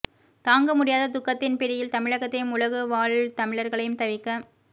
தாங்க முடியாத துக்கத்தின் பிடியில் தமிழகத்தையும் உலகு வாழ் தமிழர்களையும் தவிக்க